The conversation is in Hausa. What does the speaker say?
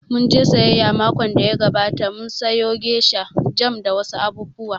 Mun je sayayya makon da ya gabata, mun sayo gesha, jam da wa su abubuwa